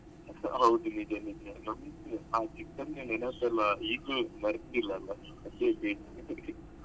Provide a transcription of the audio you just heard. ಹೌದು ನಿಜ ನಿಜ ನಾವು ನಾವು ಚಿಕ್ಕಂದಿನ ನೆನಪೆಲ್ಲ ಇಗ್ಲೂ ಮರೆತಿಲ್ಲ ಅಲ್ಲ ಅದೇ main .